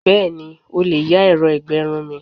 Bẹ́ẹ̀ni, o lè yá ẹ̀rọ ìgbẹrun mi.